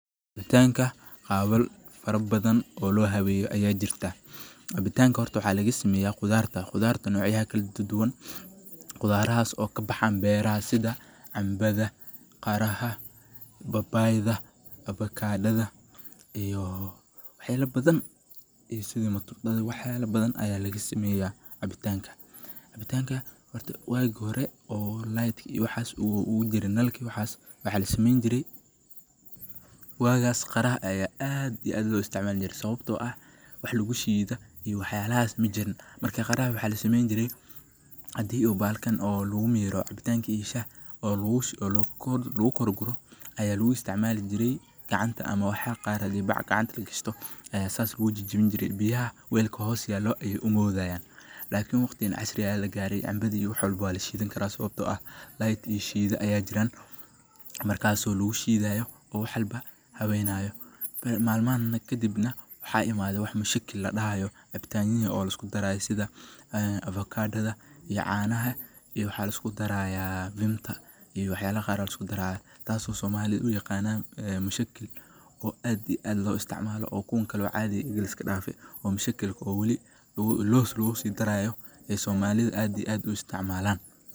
Cabitanka habal badan oo lasemeye aa jirtaa, Cabitanta horta waxa laga sameye khudarta. Hababka cabitaanka loo habeyn karo waxay ku xirnaan kartaa nooca cabitaanka aad rabto inaad sameyso, laakiin guud ahaan waxaa jira dhowr hab oo lagu habeyn karo cabitaannada si loo helo dhadhan fiican iyo si gaar ah loogu raaxeysto. Marka hore, habka ugu fudan ee cabitaanka loo habeyn karo waa in la sameeyo cabitaan khafiif ah oo qumman, sida shaaha ama kafee. Tusaale ahaan, shaaha waxaa lagu habeyn karaa iyadoo lagu daro sonkor, malab, xawaashyo kala duwan sida cinjirka ama khardal, ama iyadoo lagu daro caano si loo helo dhadhan dhalaalaya. Kafee sidoo kale waxaa lagu habeyn karaa iyadoo lagu daro sokor, karamel, ama xitaa shukulaato si loo helo dhadhan dhameystiran. Si loo sameeyo cabitaan cusub oo cabitaan khafiif ah ah, waxaad sidoo kale isku dari kartaa miro cusub, sida liin, tufaax, ama cambaha, oo lagu daro biyaha ama casiirka si loo abuuro cabitaan fudud oo kala duwan. Miro macaan iyo kuwa kale ee dhadhanka leh waxaa loo isticmaali karaa in lagu sameeyo cabitaano macaan ama khudaar si looga faa’iideysto nafaqooyinka ay leeyihiin. Tusaale ahaan, liinta, cambaha, ama tufaaxa waxaa lagu dari karaa biyo ama cabitaan kale si ay u bixiyaan cabitaan fudud oo macaan oo dheellitiran. Oo mushakilka oo waliba los lagu sii daraya oo somalida aad iyo aad ay u isticmalan.